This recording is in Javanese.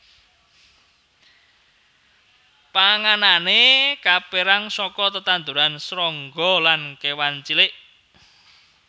Panganané kapérang saka tetanduran srangga lan kéwan cilik